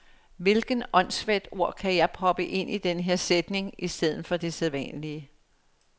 Hvilket åndssvagt ord kan jeg proppe ind i den her sætning i stedet for det sædvanlige.